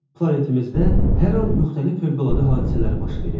Planetimizdə hər an müxtəlif fövqəladə hadisələr baş verir.